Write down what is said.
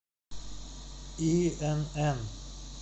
инн